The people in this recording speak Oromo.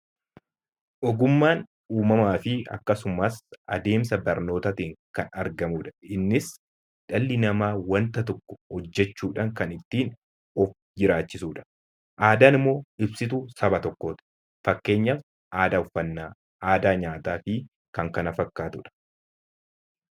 Ogummaan uumamaa fi akkasumas adeemsa barnootaatiin kan argamu dha. Innis dhalli namaa wanta tokko hojjechuu dhaan kan ittiin of jiraachisu dha. Aadaan immoo ibsituu saba tokkooti. Fakkeenyaaf aadaa uffannaa, aadaa nyaataa fi kan kana fakkaatu dha.